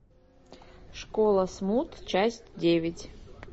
школа смут часть девять